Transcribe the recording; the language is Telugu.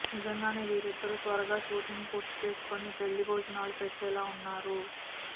నిజంగానే వీరిద్దరూ త్వరగా షూటింగ్ పూర్తీ చేసుకొని పెళ్లి బోజనాలు పెట్టెల ఉన్నారు